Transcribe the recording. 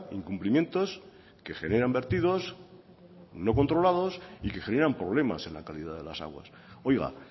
incumplimientos que generan vertidos no controlados y que generan problemas en la calidad de las aguas oiga